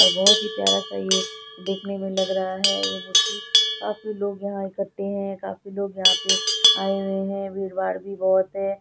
और बोहोत ही प्यारा सा ये देखने मे लग रहा है ये मूर्ति काफी लोग यहाँ इकट्टे है काफी लोग यहाँ पे आए हुए है भीड़ भाड़ भी बोहोत है।